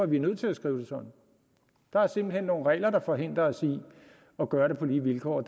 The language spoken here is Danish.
vi er nødt til at skrive det sådan der er simpelt hen nogle regler der forhindrer os i at gøre det på lige vilkår og